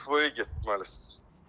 SVOya getməlisən.